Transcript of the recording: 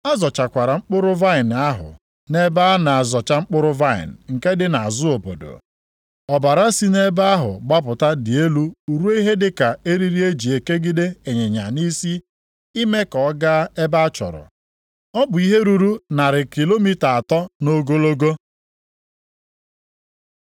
A zọchakwara mkpụrụ vaịnị ahụ nʼebe a na-azọcha mkpụrụ vaịnị nke dị nʼazụ obodo. Ọbara si nʼebe ahụ gbapụta dị elu ruo ihe dịka eriri e ji ekegide ịnyịnya nʼisi ime ka ọ gaa ebe achọrọ, ọ bụ ihe ruru narị kilomita atọ nʼogologo. + 14:20 Ihe ruru narị maịlụ na iri asatọ.